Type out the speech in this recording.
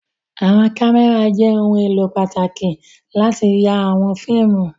Àwọn kámẹ́rà jẹ́ ohun-èlò pàtàkì láti ya àwọn fíìmù.